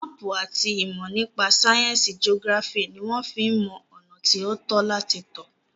Máàpù àti ìmọ̀ nípa sáyẹnsì geography ní wọ́n fí ń mọ ọ̀nà tí o tọ́ láti tọ̀.